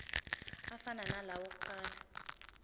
afana nalawo awokuqala